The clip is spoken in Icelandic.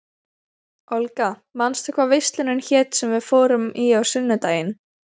Olga, manstu hvað verslunin hét sem við fórum í á sunnudaginn?